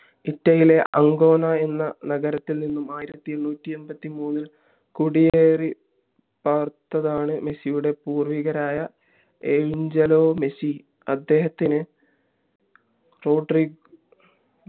ഇറ്റലിലെ Ancona എന്ന നഗരത്തിൽ നിന്നും ആയിരത്തി എണ്ണൂറ്റി എൺപത്തി മൂന്നിൽ കോടിയേരിപ്പാർത്തതാണ് മെസ്സിയുടെ പൂർവികരായ അഞ്ചിലോമെസ്സി അദ്ദേഹത്തിന്